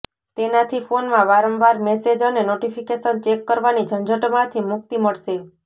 તેનાથી ફોનમાં વારંવાર મેસેજ અને નોટિફિકેશન ચેક કરવાની ઝંઝટમાથી મુકિત મળશે